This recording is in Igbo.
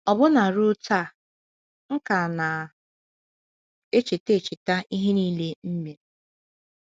“ Ọbụna ruo taa, m ka na - echeta - echeta ihe nile m mere.